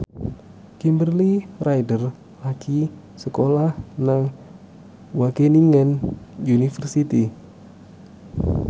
Kimberly Ryder lagi sekolah nang Wageningen University